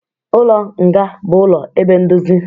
Ụlọ nga bụ ụlọ ebe ndozi